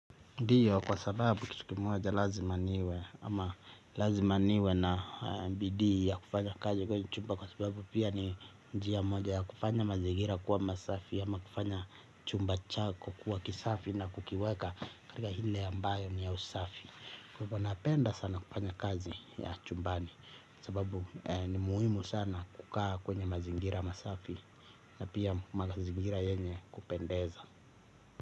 Ndiyo kwa sababu kitu moja lazima niwe ama lazima niwe na bidii ya kufanya kazi kwenye chumba kwa sababu pia ni njia moja ya kufanya mazigira kuwa masafi ama kufanya chumba chako kuwa kisafi na kukiweka katika ile ambayo ni ya usafi. Kwa hivyo napenda sana kufanya kazi ya chumbani sababu ni muhimu sana kukaa kwenye mazigira masafi na pia mazigira yenye kupendeza.